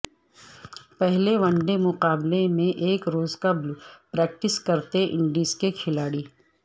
پہلے one day مقابلہ سے ایک روز قبل پریکٹس کرتے انڈیز کے کھلاڑی